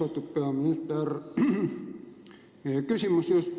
Austatud peaminister!